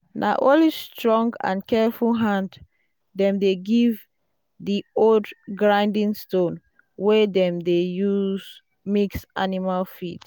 "na only strong and careful hand dem dey give di old grinding stone wey dem dey use mix animal feed."